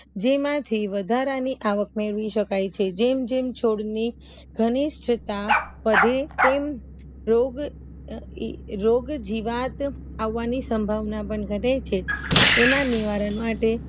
જેમાંથી વધારાની આવક મેળવી શકાય છે જેમ જેમ છોડની રોગ જીવાત આવવાની સંભાવના પણ ઘટે છે એના નિવારણ માટે